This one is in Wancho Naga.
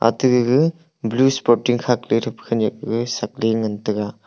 ate gaga blue sporting khakley thepa khenyak ga shakley ngan taiga.